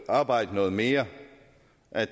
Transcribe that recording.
arbejde noget mere